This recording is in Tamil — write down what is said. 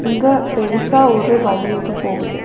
இங்க பெருசா ஒரு வழி ஒன்னு போகுது.